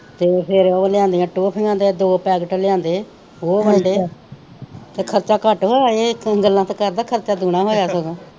ਤੇ ਫਿਰ ਉਹ ਲਿਆਂਦੀਆਂ ਟੌਫੀਆਂ ਦੇ ਦੋ ਪੈਕਟ ਲਿਆਂਦੇ ਉਹ ਵੰਡੇ ਤੇ ਖਰਚਾ ਘੱਟ ਹੋਇਆ ਇਹ ਗੱਲਾਂ ਤੇ ਕਰਦਾ ਖਰਚਾ ਦੂਣਾ ਹੋਇਆ ਸਗੋਂ